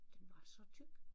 Den var så tyk